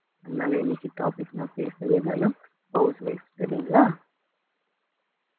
அதனால இன்னைக்கு topic நான் பேசுனது என்னனா house wife சரிங்களா